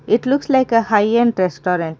It looks like a high end restaurent.